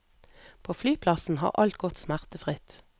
På flyplassen har alt gått smertefritt.